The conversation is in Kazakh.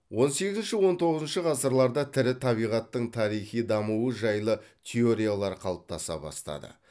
он сегізінші он тоғызыншы ғасырларда тірі табиғаттың тарихи дамуы жайлы теориялар қалыптаса бастады